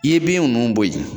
I ye bin ninnu bɔ yen.